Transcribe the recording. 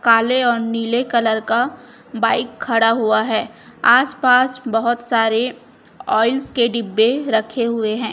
काले और नीले कलर का बाइक खड़ा हुआ है आस पास बहुत सारे ऑयल्स के डिब्बे रखे हुए हैं।